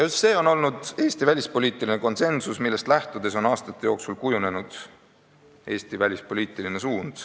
Just see on olnud Eesti välispoliitiline konsensus, millest lähtudes on aastate jooksul kujunenud Eesti välispoliitiline suund.